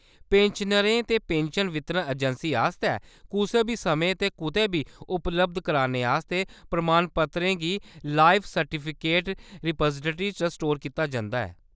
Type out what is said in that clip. पेंशनरें ते पेंशन वितरण अजैंसी आस्तै कुसै बी समें ते कुतै बी उपलब्ध कराने आस्तै प्रमाणपत्तरें गी लाइफ सर्टिफिकेट रिपाजिटरी च स्टोर कीता जंदा ऐ।